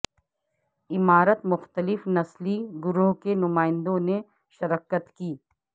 عمارت مختلف نسلی گروہوں کے نمائندوں نے شرکت کی